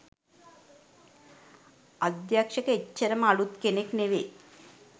අධ්‍යක්ෂක එච්චරම අළුත් කෙනෙක් නෙවේ